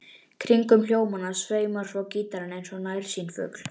Kringum hljómana sveimar svo gítarinn eins og nærsýnn fugl.